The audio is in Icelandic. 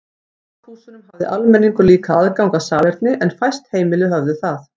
Í baðhúsunum hafði almenningur líka aðgang að salerni en fæst heimili höfðu þau.